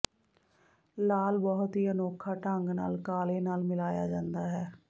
ਲਾਲ ਬਹੁਤ ਹੀ ਅਨੋਖਾ ਢੰਗ ਨਾਲ ਕਾਲੇ ਨਾਲ ਮਿਲਾਇਆ ਜਾਂਦਾ ਹੈ